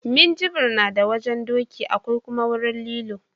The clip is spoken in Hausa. Minjibir na da wajen doki akwai kuma wurin lilo